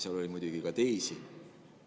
Seal oli muidugi ka teisi.